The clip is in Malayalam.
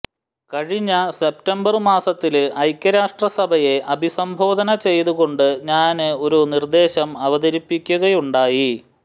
കഴിഞ്ഞ സെപ്റ്റംബര് മാസത്തില് ഐക്യരാഷ്ട്രസഭയെ അഭിസംബോധന ചെയ്തുകൊണ്ട് ഞാന് ഒരു നിര്ദ്ദേശം അവതരിപ്പിക്കുകയുണ്ടായി